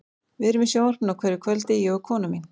Við erum í sjónvarpinu á hverju kvöldi, ég og konan mín.